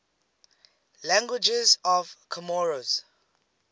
languages of comoros